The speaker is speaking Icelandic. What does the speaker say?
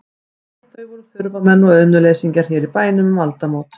Æ, þau voru þurfamenn og auðnuleysingjar hér í bænum um aldamót.